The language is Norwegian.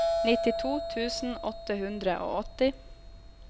nittito tusen åtte hundre og åtti